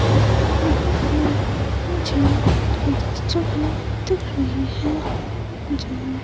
यहां पर मुझे एक जगह दिख रही है जहां--